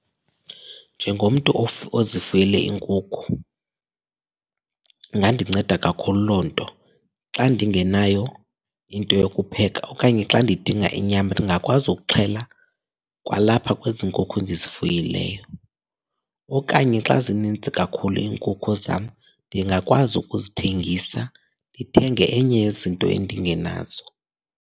Njengomntu ozifuyele iinkukhu ingandinceda kakhulu loo nto. Xa ndingenayo into yokupheka okanye xa ndidinga inyama ndingakwazi ukuxhela kwalapha kwezi nkukhu ndizifuyileyo. Okanye xa zininzi kakhulu iinkukhu zam, ndingakwazi ukuzithengisa ndithenge enye yezinto endingenazo.